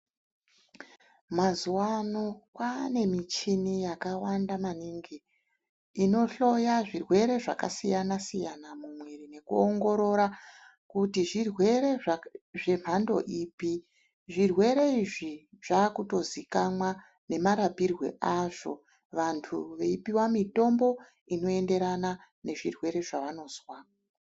Mazuwa ano kwaane muchini yakawanda maningi inohloya zvirwere zvakasiyana siyana mumwiri nekuongorora zvirwere zvemhando ipi zvirwere izvi zvakutozikanwa nemarapirwe azvo vantu veipuwa mitombo inoenderana nezvirwere zvaanozwa